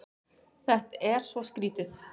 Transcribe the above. Þetta er svo skrýtið.